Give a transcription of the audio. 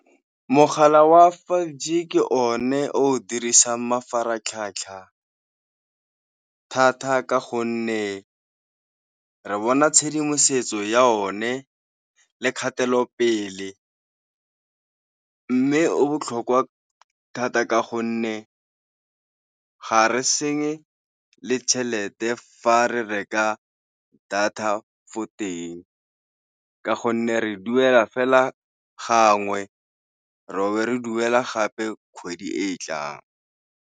Mogala wa five G ke one o dirisang mafaratlhatlha thata ka gonne re bona tshedimosetso ya o ne le kgatelopele, mme o botlhokwa thata ka gonne ga re senye le tšhelete fa re reka data fo teng ka gonne re duela fela gangwe ro be re duela gape kgwedi e e tlang.